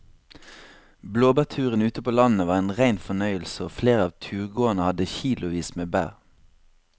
Blåbærturen ute på landet var en rein fornøyelse og flere av turgåerene hadde kilosvis med bær.